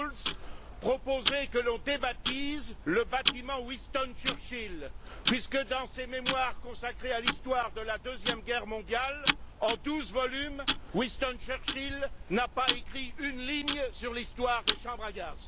Schulz, proposer que l'on débaptise le bâtiment Winston Churchill, puisque dans ses mémoires consacrés à l'histoire de la Deuxième Guerre Mondiale, en douze volumes, Winston Churchill n'a pas écrit une ligne sur l'histoire des chambres à gaz.